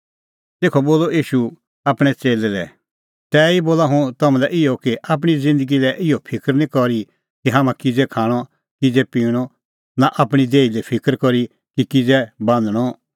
तेखअ बोलअ ईशू आपणैं च़ेल्लै लै तैही बोला हुंह तम्हां लै इहअ कि आपणीं ज़िन्दगी लै इहअ फिकर निं करी कि हाम्हां किज़ै खाणअ किज़ै पिणअ नां आपणीं देही लै फिकर करी कि किज़ै बान्हणअ